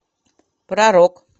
про рок